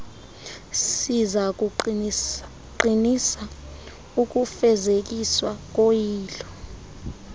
sizakuqinisa ukufezekiswa koyilo